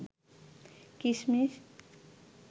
কিসমিস